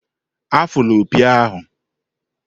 Afụla opi ahụ!